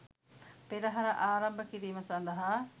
පෙරහර ආරම්භ කිරීම සඳහා